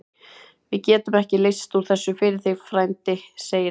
Við getum ekki leyst úr þessu fyrir þig, frændi segir hann.